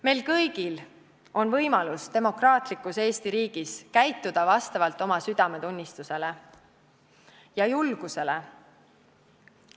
Meil kõigil on võimalus demokraatlikus Eesti riigis käituda vastavalt oma südametunnistusele ja julgusele.